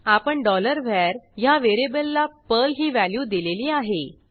आपण var ह्या व्हेरिएबलला पर्ल ही व्हॅल्यू दिलेली आहे